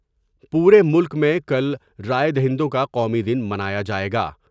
پورے ملک میں کل رائے دہندوں کا قومی دن منایا جائے گا ۔